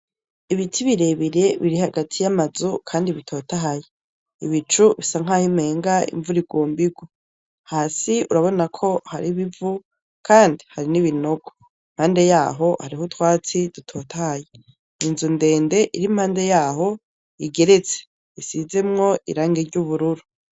Ibiti birebire biri hagati ya ma nzu kandi bitotahaye, ibicu bisa nkaho umengo imvura igomba ingwe hasi urabona ko hari ib'ivu kandi hari nibinogo mpande yaho hariho utwatsi dutotahaye, inzu ndende iri mpande yaho igeretse isizemwo iragi ry'ubururu